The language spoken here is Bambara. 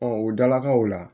o dalakaw la